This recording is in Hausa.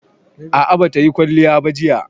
A'a, ba ta yi kwalliya ba jiya